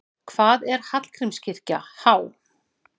Hvað er Hallgrímskirkja há?